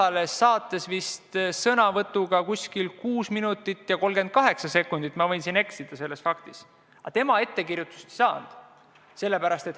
Tema võttis sõna ja see kestis mingi 6 minutit ja 38 sekundit – ma võin selles faktis eksida –, aga tema ettekirjutust ei saanud.